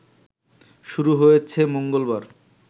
শুরু হয়েছে মঙ্গলবার